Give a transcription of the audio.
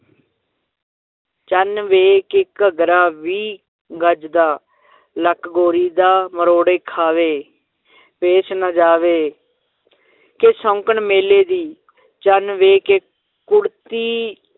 ਚੰਨ ਵੇ ਕਿ ਘਗਰਾ ਵੀਹ ਗਜ਼ ਦਾ ਲੱਕ ਗੋਰੀ ਦਾ ਮਰੋੜੇ ਖਾਵੇ ਪੇਸ਼ ਨਾ ਜਾਵੇ ਕਿ ਸ਼ੌਂਕਣ ਮੇਲੇ ਦੀ ਚੰਨ ਵੇ ਕਿ ਕੁੜਤੀ